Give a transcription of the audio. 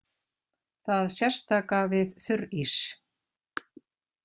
Það sérstaka við þurrís.